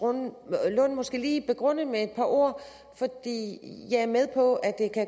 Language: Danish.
lund måske lige begrunde med et par ord jeg er med på at det